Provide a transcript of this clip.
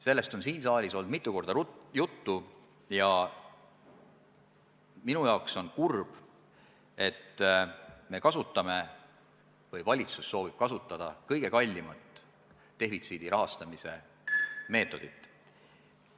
Sellest on siin saalis mitu korda juttu olnud ja minu jaoks on kurb, et valitsus soovib kasutada kõige kallimat defitsiidi katmise meetodit.